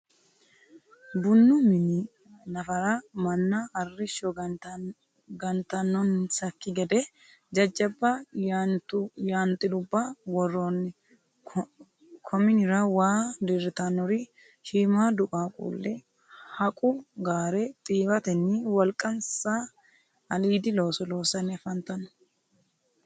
bunnu minni nafarra manna arishsho gantanonisaki gedde jajabba yaantiluba woroonni kominnira waa diritanori shiimaadu qaquuli haqu gaare xiiwatenni woliqanisa aliidi looso loosanni afanitanno.